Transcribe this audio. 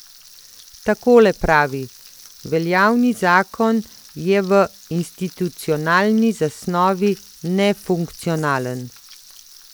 Takole pravi: 'Veljavni zakon je v institucionalni zasnovi nefunkcionalen.